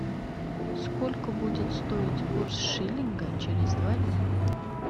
сколько будет стоить курс шиллинга через два дня